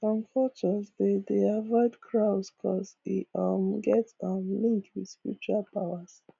some cultures dey dey avoid crows coz e um get um link with spiritual powers